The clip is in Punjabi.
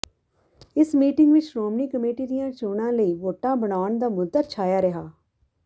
ਇਸ ਮੀਟਿੰਗ ਵਿੱਚ ਸ਼੍ਰੋਮਣੀ ਕਮੇਟੀ ਦੀਆਂ ਚੋਣਾਂ ਲਈ ਵੋਟਾਂ ਬਣਾਉਣ ਦਾ ਮੁੱਦਾ ਛਾਇਆ ਰਿਹਾ